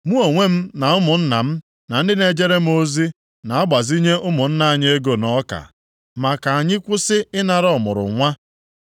Mụ onwe m na ụmụnna m na ndị na-ejere m ozi na-agbazinye ụmụnne anyị ego na ọka. Ma ka anyị kwụsị ịnara ọmụrụnwa.